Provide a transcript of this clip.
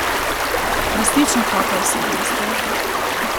Resnično topla osebnost je.